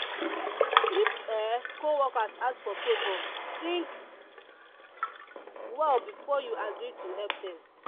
if um co-worker ask for favor think well before you agree to help dem.